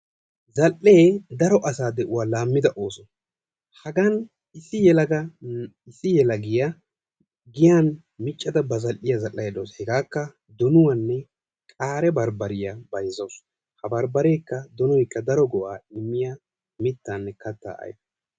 Zal"ee daro asaa de'uwaa laammida ooso. Hagan issi yelagiya giyan miccada ba zal"iya zal"aydda dawusu. Hegaakka donuwanne qaare barbbariya bayzzawusu. Ha barbbareekka donoykka daro go"aa immiya mittaanne kattaa ayfe.